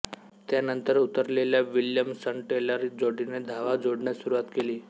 त्यानंतर उतरलेल्या विल्यमसनटेलर जोडीने धावा जोडण्यास सुरुवात केली